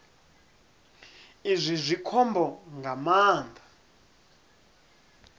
izwi zwi khombo nga maanḓa